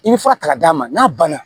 I bɛ fura ta k'a d'a ma n'a banna